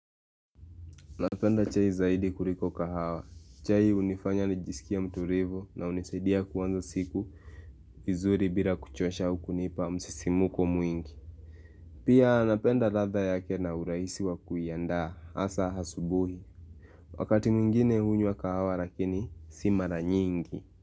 Napenda chai zaidi kuliko kahawa. Chai hunifanya nijisikie mturivu na hunisaidia kuanza siku vizuri bila kuchosha au kunipa msisimuko mwingi. Pia napenda ladha yake na urahisi wa kuianda hasa hasubuhi. Wakati mwingine hunywa kahawa lakini si mara nyingi.